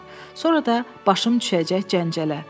Sonra da başım düşəcək cəncələ.